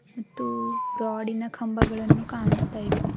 ಮತ್ತು ರಾಡಿನ ಕಂಬಗಳನ್ನು ಕಾಣಿಸ್ತಾ ಇವೆ.